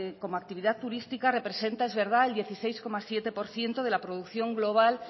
como actividad turística representa el dieciséis coma siete por ciento de la producción global